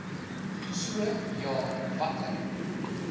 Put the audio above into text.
so ja watter